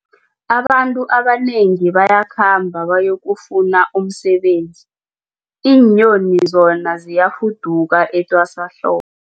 Abantu abanengi bayakhamba bayokufuna umsebenzi, iinyoni zona ziyafuduka etwasahlobo.